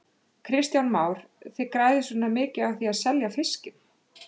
Kristján Már: Þið græðið svona mikið á því að selja fiskinn?